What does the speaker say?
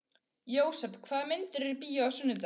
Jósep, hvaða myndir eru í bíó á sunnudaginn?